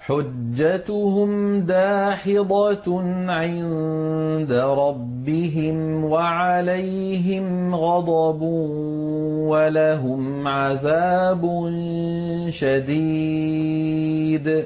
حُجَّتُهُمْ دَاحِضَةٌ عِندَ رَبِّهِمْ وَعَلَيْهِمْ غَضَبٌ وَلَهُمْ عَذَابٌ شَدِيدٌ